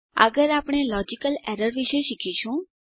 આગળ આપણે logical errors વિશે શીખીશું